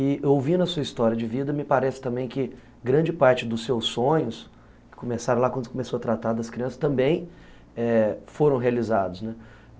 E ouvindo a sua história de vida, me parece também que grande parte dos seus sonhos, que começaram lá quando você começou a tratar das crianças, também eh... foram realizados, né